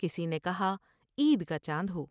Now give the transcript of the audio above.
کسی نے کہا '' عید کا چاند ہو ۔